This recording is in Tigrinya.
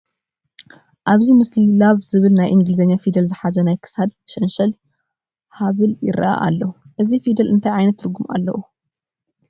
ኣብዚ ምስሊ Love ዝብል ናይ እንግሊዝኛ ፊደል ዝሓዘ ናይ ክሳድ ሸንሸል ሃብል ይርአ ኣሎ፡፡ እዚ ፊደል እንታይ ዓይነት ትርጉም ኣለዎ?